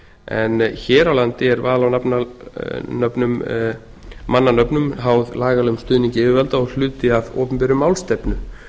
en hér á landi er val á mannanöfnum háð lagalegum stuðningi yfirvalda og hluti af opinberri málstefnu